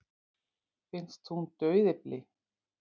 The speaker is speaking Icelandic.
Finnst hún dauðyfli.